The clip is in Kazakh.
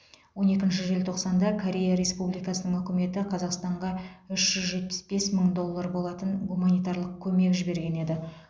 он екінші желтоқсанда корея республикасының үкіметі қазақстанға үш жүз жетпіс бес мың доллар болатын гуманитарлық көмек жіберген еді